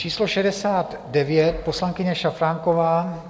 Číslo 69 - poslankyně Šafránková.